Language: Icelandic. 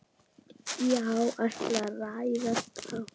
Já, allt ræðst þá.